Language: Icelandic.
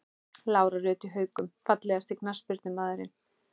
Lára Rut í Haukum Fallegasti knattspyrnumaðurinn?